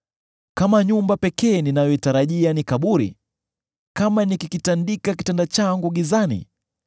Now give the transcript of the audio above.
Kama nyumba pekee ninayoitarajia ni kaburi, kama nikikitandika kitanda changu gizani,